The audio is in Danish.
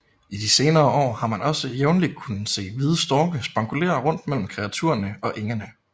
I de senere år har man også jævnlig kunnet se hvide storke spankulere rundt mellem kreaturerne på engene